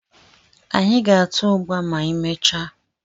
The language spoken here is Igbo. Anyị ga-ata ụgba ma anyị mechaa